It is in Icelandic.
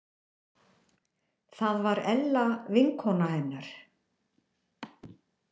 Það var Ella vinkona hennar.